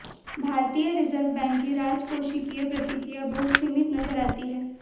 भारतीय reserve bank की राजकोषीय प्रतिक्रिया बहुत सीमित नजर आती है